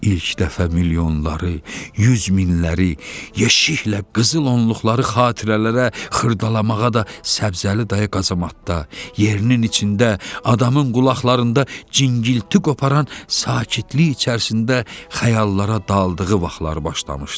İlk dəfə milyonları, yüz minləri, yeşiklə qızılonluqları xatirələrə xırdalamağa da Səbzəli dayı qazamatda yerinin içində adamın qulaqlarında cingilti qoparan sakitlik içərisində xəyallara daldığı vaxtlar başlamışdı.